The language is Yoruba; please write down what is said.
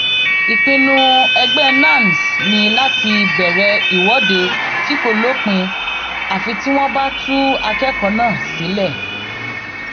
ìpinnu ẹgbẹ nans ni láti bẹrẹ ìwọde tí kò lópin àfi tí wọn bá tú akẹkọọ náà sílẹ